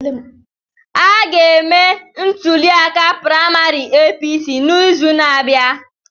A ga-eme ntuliaka praịmarị APC n'izu na-abịa.